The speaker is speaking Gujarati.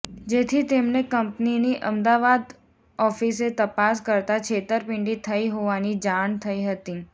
જેથી તેમણે કંપનીની અમદાવાદ ઓફીસે તપાસ કરતાં છેતરપીંડી થઈ હોવાની જાણ થઈ હતી